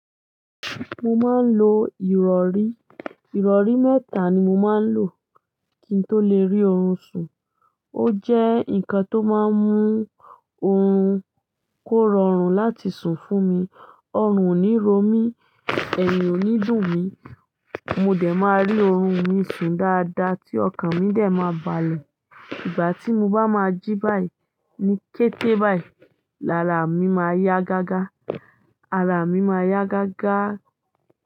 Mo máa ń lo ìrọ̀rí. Ìrọ̀rí mẹ́ta ni mo máa ń lò kí n tó le rí oorun sùn. Ó jẹ́ nǹkan tó máa ń mú oorun kó rọrùn láti sùn fún mi. Ọrùn ò ní ro mí, ẹ̀yìn ò ní dùn mí, mo dẹ̀ máa rí oorun mi sùn dáadáa tí ọkàn mi dẹ̀ ma balẹ̀. Ìgbà tí mo bá máa jí báyìí ní kété báyìí, ara mi máa yá gágá. Ara mi máa yá gágá.